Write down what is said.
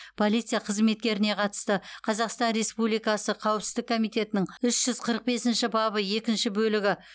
полиция қызметкеріне қатысты қазақстан республикасы қауіпсіздік комитетінің үш жүз қырық бесінші бабы екінші бөлігі